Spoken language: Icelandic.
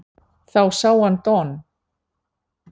Þá sá hann Don